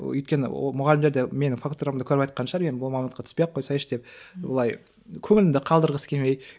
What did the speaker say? өйткені ол мұғалімдер де менің фактурамды көріп айтқан шығар енді бұл мамандыққа түспей қойсаңшы деп былай көңілімді қалдырғысы келмей